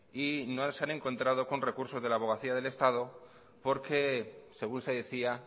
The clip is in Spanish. y no se han encontrado con recursos de la abogacía del estado porque según se decía